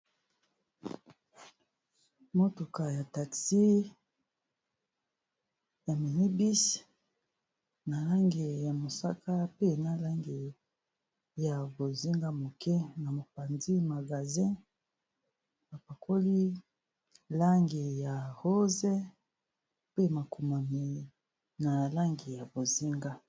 Motuka ya taxi ya mini bus na langi ya mosaka, pe na langi ya bozinga moke. Na mopanzi magazin ba pakoli langi ya rose mpe makomami na langi ya bozinga.